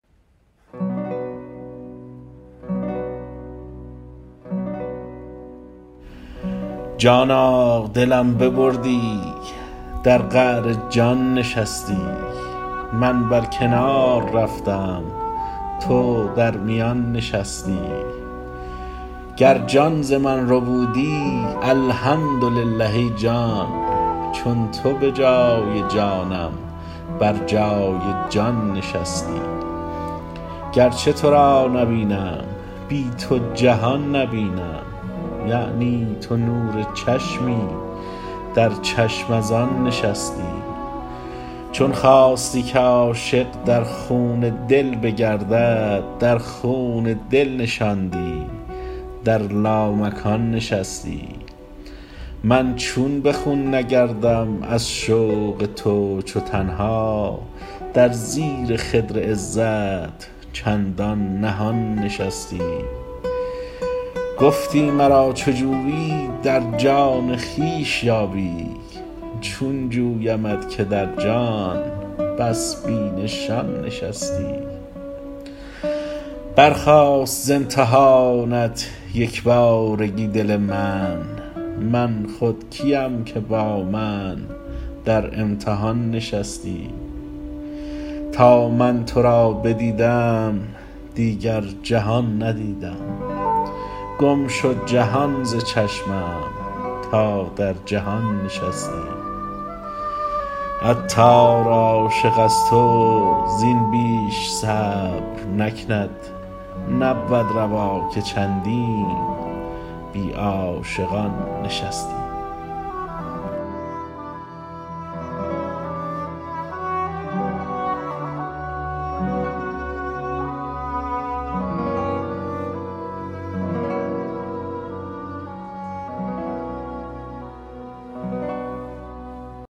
جانا دلم ببردی در قعر جان نشستی من بر کنار رفتم تو در میان نشستی گر جان ز من ربودی الحمدلله ای جان چون تو به جای جانم بر جای جان نشستی گرچه تو را نبینم بی تو جهان نبینم یعنی تو نور چشمی در چشم از آن نشستی چون خواستی که عاشق در خون دل بگردد در خون دل نشاندی در لامکان نشستی من چون به خون نگردم از شوق تو چو تنها در زیر خدر عزت چندان نهان نشستی گفتی مرا چو جویی در جان خویش یابی چون جویمت که در جان بس بی نشان نشستی برخاست ز امتحانت یکبارگی دل من من خود کیم که با من در امتحان نشستی تا من تو را بدیدم دیگر جهان ندیدم گم شد جهان ز چشمم تا در جهان نشستی عطار عاشق از تو زین بیش صبر نکند نبود روا که چندین بی عاشقان نشستی